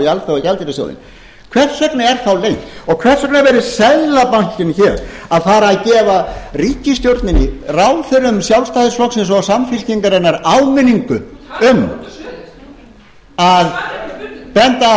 alþjóðagjaldeyrissjóðinn hvers vegna er þá leynt og hvers vegna er seðlabankinn hér að fara að gefa ríkisstjórninni ráðherrum sjálfstæðisflokksins og samfylkingarinnar áminningu á um að benda